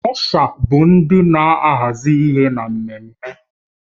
Ọsha bụ ndị na-ahazi ihe na mmemme